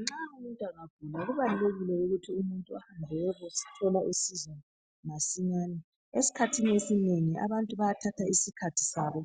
Nxa umuntu angagula kubalulekile ahambe ayethola usizo masinyane esikhathini esinengi abantu bayathatha isikhathi sabo